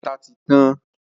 Ata ti tan.